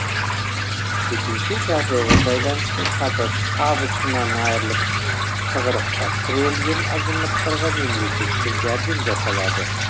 төтенше жағдайға байланысты табысынан айырылып тығырыққа тірелген азаматтарға мемлекеттен жәрдем жасалады